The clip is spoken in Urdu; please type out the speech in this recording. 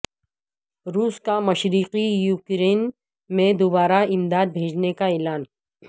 روس کا مشرقی یوکرین میں دوبارہ امداد بھیجنے کا اعلان